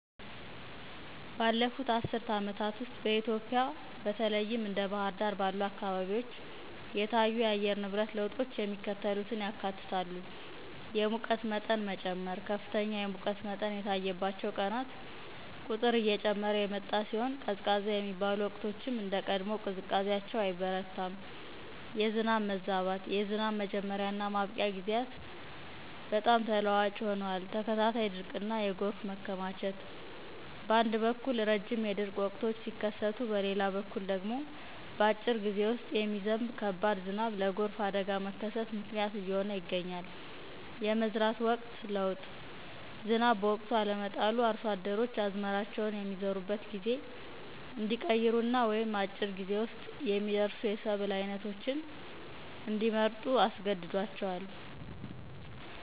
ባለፉት አስርት ዓመታት ውስጥ በኢትዮጵያ (በተለይም እንደ ባሕር ዳር ባሉ አካባቢዎች) የታዩ የአየር ንብረት ለውጦች የሚከተሉትን ያካትታሉ፦ የሙቀት መጠን መጨመር፦ ከፍተኛ የሙቀት መጠን የታየባቸው ቀናት ቁጥር እየጨመረ የመጣ ሲሆን፣ ቀዝቃዛ የሚባሉ ወቅቶችም እንደ ቀድሞው ቅዝቃዜያቸው አይበረታም። የዝናብ መዛባት፦ የዝናብ መጀመሪያ እና ማብቂያ ጊዜያት በጣም ተለዋዋጭ ሆነዋል። ተከታታይ ድርቅና የጎርፍ መከማቸት፦ በአንድ በኩል ረጅም የድርቅ ወቅቶች ሲከሰቱ፣ በሌላ በኩል ደግሞ በአጭር ጊዜ ውስጥ የሚዘንብ ከባድ ዝናብ ለጎርፍ አደጋ መከሰት ምክንያት እየሆነ ይገኛል። የመዝራት ወቅት ለውጥ፦ ዝናብ በወቅቱ አለመጣሉ አርሶ አደሮች አዝመራቸውን የሚዘሩበትን ጊዜ እንዲቀይሩ ወይም አጭር ጊዜ ውስጥ የሚደርሱ የሰብል ዓይነቶችን እንዲመርጡ አስገድዷቸዋል።